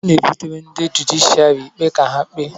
A na-ebutere ndị jụdịshịàrị ikpe ka ha kpee